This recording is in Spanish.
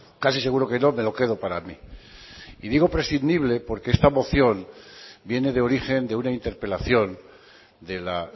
casi seguro que no me lo quedo para mí y digo prescindible porque esta moción viene de origen de una interpelación de la